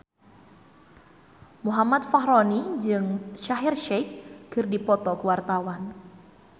Muhammad Fachroni jeung Shaheer Sheikh keur dipoto ku wartawan